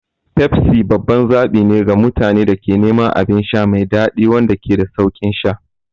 Pepsi babban zaɓi ne ga mutanen da ke neman abin sha mai daɗi wanda ke da sauƙin sha.